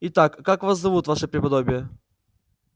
итак как вас зовут ваше преподобие